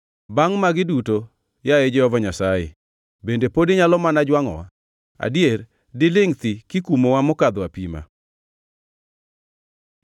Bangʼ magi duto, yaye Jehova Nyasaye, bende pod inyalo mana jwangʼowa? Adier dilingʼ thi kikumowa mokadho apima?